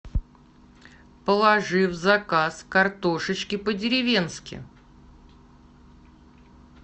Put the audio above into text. положи в заказ картошечки по деревенски